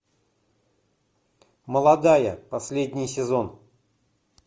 молодая последний сезон